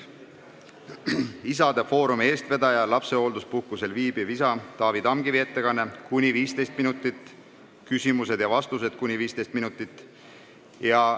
Isade Foorumi eestvedaja, lapsehoolduspuhkusel viibiva isa Taavi Tamkivi ettekanne kestab kuni 15 minutit, küsimused ja vastused kestavad kuni 15 minutit.